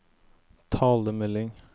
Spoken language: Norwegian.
talemelding